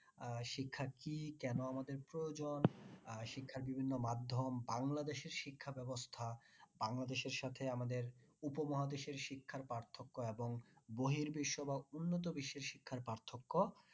আহ শিক্ষা কি কেন আমাদের প্রয়োজন আর শিক্ষার বিভিন্ন মাধ্যম বাংলাদেশের শিক্ষা ব্যবস্থা বাংলাদেশের সাথে আমাদের উপমহাদেশের শিক্ষার পার্থক্য এবং বহির বিশ্ব বা উন্নত বিশ্বের শিক্ষার পার্থক্য